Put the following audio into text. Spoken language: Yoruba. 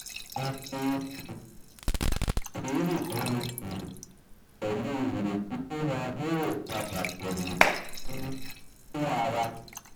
a fi um sùúrù bá wọn sọ̀rọ̀ pẹ̀lú ìrètí pé won óò padà bọ̀wọ̀ um fún ara wa